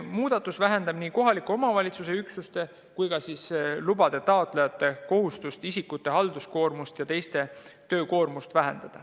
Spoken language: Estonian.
Muudatus vähendab nii kohaliku omavalitsuse üksuste kui ka lubade taotlejate halduskoormust ja töökoormust.